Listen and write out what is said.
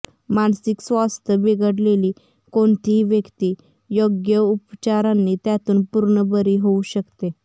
मानसिक स्वास्थ्य बिघडलेली कोणतीही व्यक्ती योग्य उपचारांनी त्यातून पूर्ण बरी होऊ शकते